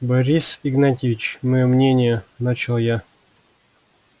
борис игнатьевич моё мнение начал я